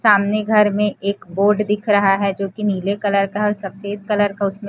सामने घर में एक बोर्ड दिख रहा है जोकि नीले कलर का है और सफेद कलर का उसमें --